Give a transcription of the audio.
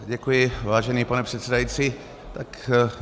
Děkuji, vážený pane předsedající.